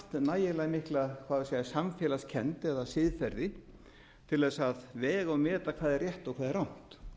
nægilega mikla hvað á ég að segja samfélagskennd eða siðferði til þess að vega og meta hvað er rétt og hvað er